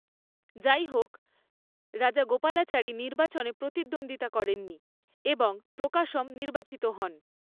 যাইহোক, রাজাগোপালাচারী নির্বাচনে প্রতিদ্বন্দ্বিতা করেননি এবং প্রকাশম নির্বাচিত হন।